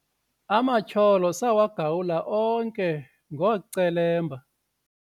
amatyholo sawagawula onke ngoocelemba